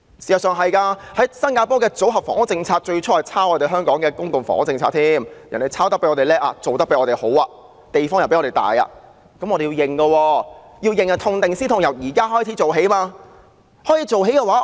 事實上，新加坡的組屋政策最初也抄襲香港的公共房屋政策，但我們不得不承認的是，人家青出於藍，做得比我們更好，所提供的公共房屋比我們的寬敞。